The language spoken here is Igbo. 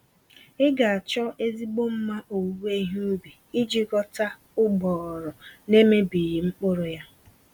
Ị ga-achọ ezigbo mma owuwe ihe ubi iji ghọta ụgbọghọrọ nemebighị mkpụrụ yá